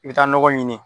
I bɛ taa nɔgɔ ɲini